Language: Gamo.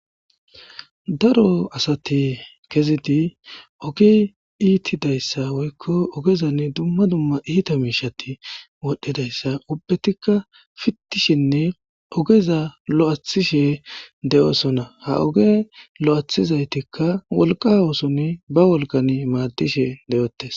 Daro asati kezidi ogi iittidayssa woykko ogezan dumma dumma iita miishati wodhdhidayssa ubbetikka fittishinne ogeza lo'ishe de'oosona ha oge lo'athizaytikk' wolqa wooson ba wolgan maaddishe deyotes.